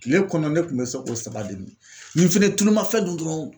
Kile kɔnɔ ne tun bɛ se k'o saba de min nin fɛnɛ ye tuluma fɛn dun dɔrɔnw